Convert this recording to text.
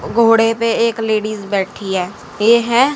घोड़े पे एक लेडिस बैठी है ये हैं--